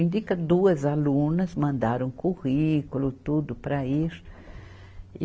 Indica duas alunas, mandaram currículo, tudo para ir.